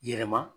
Yɛlɛma